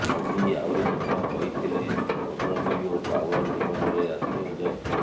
ମୋଦି ଆହୁରି ମଧ୍ୟ କହିଥିଲେ ପଦବୀ ଓ ପାୱାର ଜୀବନରେ ଆସେ ଓ ଯାଏ